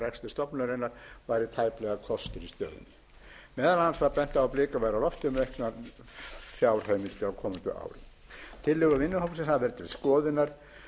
stofnunarinnar væri tæplega kostur í stöðunni meðal annars var bent á að blikur væru á lofti um auknar fjárheimildir á komandi ári tillögur vinnuhópsins hafa verið til skoðunar